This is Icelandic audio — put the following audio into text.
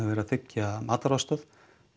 verið að þiggja matvælaaðstoð